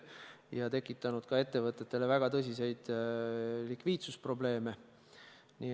See on tekitanud ettevõtetele väga tõsiseid likviidsusprobleeme.